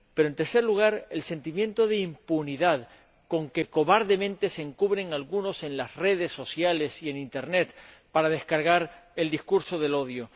Y, en tercer lugar, el sentimiento de impunidad con que cobardemente se encubren algunos en las redes sociales y en internet para descargar el discurso del odio.